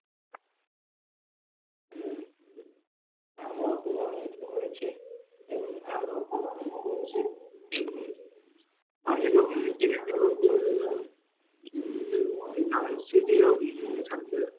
হম আমরা ও খুব আনন্দ করেছি এবং আমরা ও খুব আনন্দ করেছি এবং আমিও কিছু কেনাকাটা করে নিলাম, দেখব নানান স্মৃতিও থাকবে